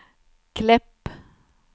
Klepp